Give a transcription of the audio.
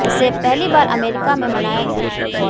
इसे पहली बार अमेरिका में मनाया गया था